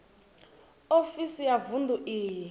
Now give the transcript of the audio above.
ofisi ya vunḓu i re